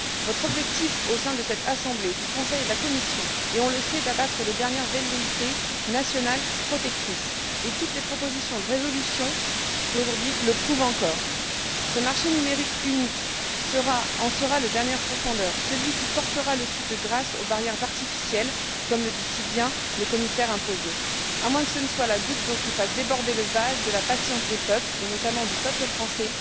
Votre objectif au sein de cette Assemblée, du Conseil et de la Commission est on le sait d'abattre les dernières velléités nationales protectrices, et toutes les propositions de résolution d'aujourd'hui le prouvent encore. Ce marché numérique unique en sera le dernier pourfendeur, celui qui portera le coup de grâce aux barrières artificielles, comme le dit si bien le commissaire imposé. À moins que cela ne soit la goutte qui fasse déborder le vase de la patience des peuples et, notamment, du peuple français